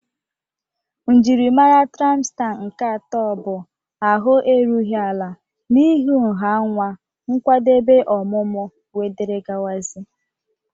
Njiri mara traịmsta nke atọ bụ ahụ erughị ala n'ihi nha nwa, nkwadebe ọmụmụ wdg.